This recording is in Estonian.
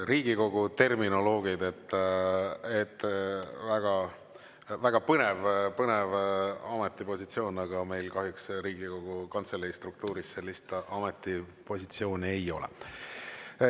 Riigikogu terminoloogid – väga põnev ametipositsioon, aga meil kahjuks Riigikogu Kantselei struktuuris sellist ametipositsiooni ei ole.